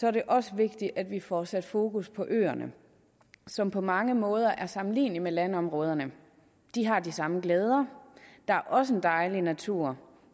er det også vigtigt at vi får sat fokus på øerne som på mange måder er sammenlignelige med landområderne de har de samme glæder der er også en dejlig natur